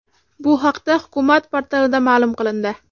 Bu haqda hukumat portalida ma’lum qilindi .